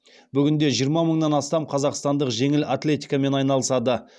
бүгінде жиырма мыңнан астам қазақстандық жеңіл атлетикамен айналысады